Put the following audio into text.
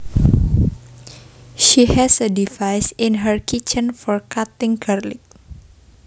She has a device in her kitchen for cutting garlic